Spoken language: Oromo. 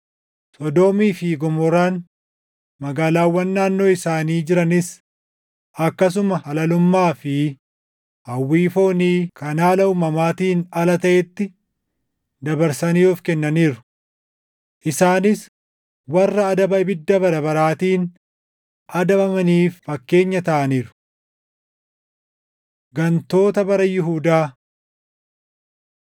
Sodoomii fi Gomoraan, magaalaawwan naannoo isaanii jiranis akkasuma halalummaa fi hawwii foonii kan haala uumamaatiin ala taʼetti dabarsanii of kennaniiru. Isaanis warra adaba ibidda bara baraatiin adabamaniif fakkeenya taʼaniiru. Gantoota Bara Yihuudaa